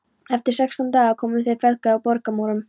Eftir sextán daga komu þeir feðgar að borgarmúrum